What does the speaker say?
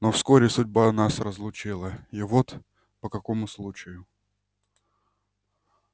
но вскоре судьба нас разлучила и вот по какому случаю